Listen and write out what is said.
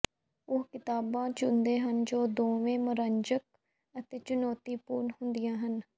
ਉਹ ਕਿਤਾਬਾਂ ਚੁਣਦੇ ਹਨ ਜੋ ਦੋਵੇਂ ਮਨੋਰੰਜਕ ਅਤੇ ਚੁਣੌਤੀਪੂਰਨ ਹੁੰਦੀਆਂ ਹਨ